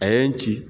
A ye n ci